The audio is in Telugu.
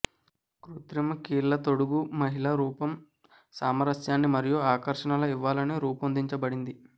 కృత్రిమ కీళ్ళ తొడుగు మహిళా రూపం సామరస్యాన్ని మరియు ఆకర్షణల ఇవ్వాలని రూపొందించబడింది